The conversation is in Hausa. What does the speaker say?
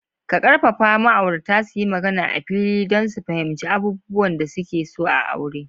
Ka ƙarfafa ma'aurata su yi magana a fili don su fahimci abubuwan da suke so a aure.